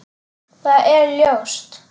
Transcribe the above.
Það er ljóst.